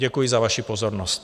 Děkuji vám za pozornost.